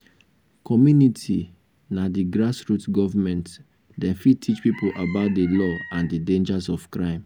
commumity na di grass root government dem fit teach pipo about di law and di dangers of crime